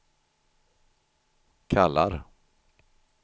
kallar